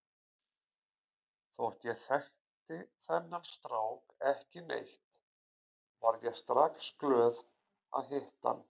Þótt ég þekkti þennan strák ekki neitt varð ég strax glöð að hitta hann.